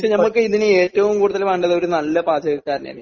പക്ഷേ നമുക്ക് ഇതിന് ഏറ്റവും കൂടുതല് വേണ്ടത് ഒരു നല്ല പാചകക്കാരനെയല്ലേ